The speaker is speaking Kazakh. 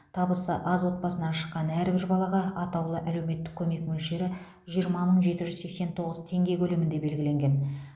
табысы аз отбасынан шыққан әрбір балаға атаулы әлеуметтік көмек мөлшері жиырма мың жеті жүз сексен тоғыз теңге көлемінде белгіленген